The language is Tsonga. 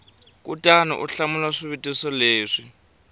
kutani u hlamula swivutiso leswi